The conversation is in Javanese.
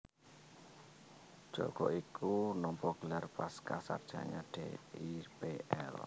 Djoko iku nampa gelar pascasarjana Dipl